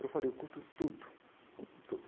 Eu falei, eu curto tudo, tudo.